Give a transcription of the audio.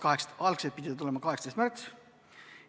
Algselt pidi see saali tulema 18. märtsil.